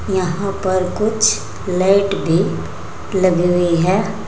यहां पर कुछ लाइट भी लगी हुई है।